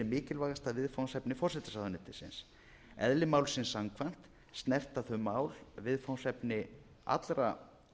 mikilvægasta viðfangsefni forsætisráðuneytisins eðli málsins samkvæmt snerta þau mál svið allra